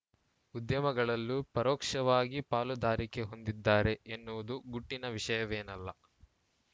ಉದ್ಯಮಗಳಲ್ಲೂ ಪರೋಕ್ಷವಾಗಿ ಪಾಲುದಾರಿಕೆ ಹೊಂದಿದ್ದಾರೆ ಎನ್ನುವುದು ಗುಟ್ಟಿನ ವಿಷಯವೇನಲ್ಲ